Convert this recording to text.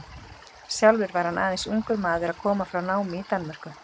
Sjálfur var hann aðeins ungur maður að koma frá námi í Danmörku.